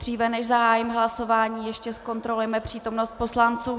Dříve, než zahájím hlasování, ještě zkontrolujeme přítomnost poslanců.